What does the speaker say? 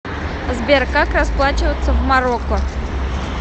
сбер как расплачиваться в марокко